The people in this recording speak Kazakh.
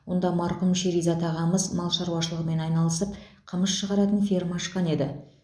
онда марқұм шеризат ағамыз мал шаруашылығымен айналысып қымыз шығаратын ферма ашқан еді